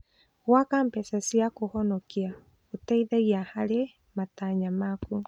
Gwaka mbeca cia kũhonokia gũteithagia harĩ matanya maku.